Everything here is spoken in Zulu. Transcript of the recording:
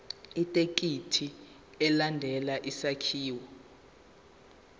ithekisthi ilandele isakhiwo